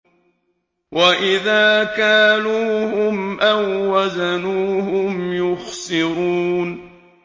وَإِذَا كَالُوهُمْ أَو وَّزَنُوهُمْ يُخْسِرُونَ